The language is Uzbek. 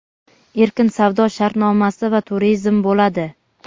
erkin savdo shartnomasi va turizm bo‘ladi.